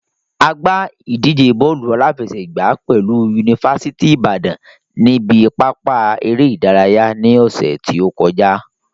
A gbá ìdíje bọ́ọ̀lù aláfẹsẹ̀gbàá pẹ̀lú yunifásítì ìbàdàn ní ibi pápá eré ìdárayá ní ọ̀ṣẹ̀ tí ó kọjá.